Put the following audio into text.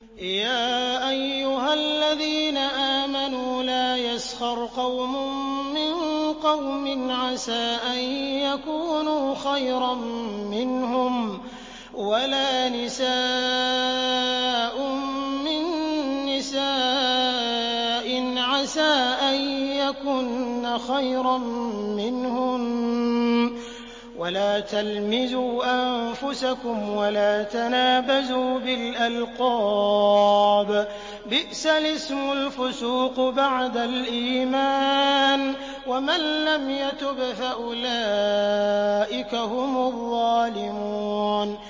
يَا أَيُّهَا الَّذِينَ آمَنُوا لَا يَسْخَرْ قَوْمٌ مِّن قَوْمٍ عَسَىٰ أَن يَكُونُوا خَيْرًا مِّنْهُمْ وَلَا نِسَاءٌ مِّن نِّسَاءٍ عَسَىٰ أَن يَكُنَّ خَيْرًا مِّنْهُنَّ ۖ وَلَا تَلْمِزُوا أَنفُسَكُمْ وَلَا تَنَابَزُوا بِالْأَلْقَابِ ۖ بِئْسَ الِاسْمُ الْفُسُوقُ بَعْدَ الْإِيمَانِ ۚ وَمَن لَّمْ يَتُبْ فَأُولَٰئِكَ هُمُ الظَّالِمُونَ